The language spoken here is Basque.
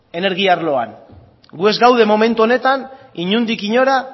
energia arloan gu ez gaude momentu honetan inondik inora